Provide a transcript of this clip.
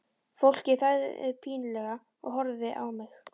Fólkið þagði pínlega og horfði á mig.